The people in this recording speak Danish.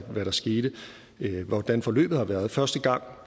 der skete og hvordan forløbet har været første gang